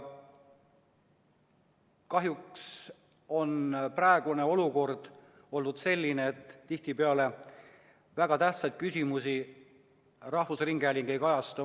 Kahjuks on praegune olukord olnud selline, et tihtipeale väga tähtsaid küsimusi rahvusringhääling ei kajasta.